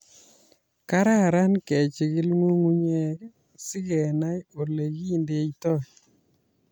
Kararan kejigil nyung'unyek sikenai olekindeitoi